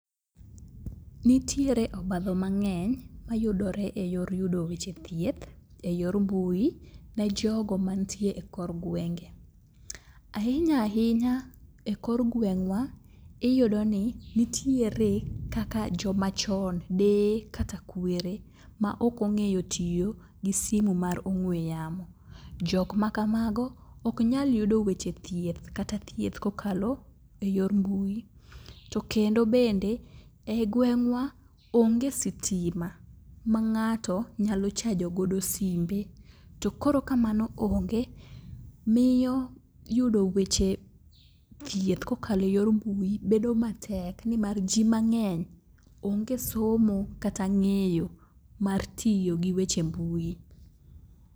Nitiere obadho mang'eny mayudore e yor yudo weche thieth e yor mbui ne jogo mantie e kor gwenge. Ahinya ahinya e kor gweng'wa iyudo ni nitiere kaka jomachon, deye kata kwere maok ong'eyo tiyo gi simu mar ong'we yamo. Jokmakamago oknyal yudo weche thieth kata thieth kokalo e yor mbui. To kendo bende, e i gweng'wa onge sitima ma ng'ato nyalo chajogodo simbe to koro ka mano onge miyo yudo weche thieth kokalo e yor mbui bedo matek nimar ji mang'eny onge somo kata ng'eyo mar tiyo gi weche mbui.